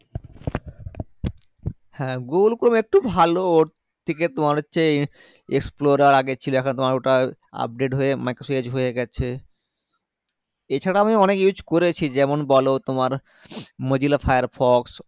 হ্যাঁ google chrome একটু ভালো ওর থেকে তোমার হচ্ছে explorer আগে ছিল এখন তোমার ওটা Update হয়ে microsoft edge হয়ে গেছে এছাড়াও আমি অনেক use করেছি যেমন বলো তোমার mozilla firefox